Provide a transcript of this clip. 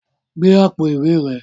Gbe àpò ìwé rẹ